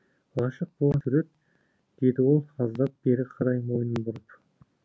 ғашық болған сурет деді ол аздап бері қарай мойнын бұрып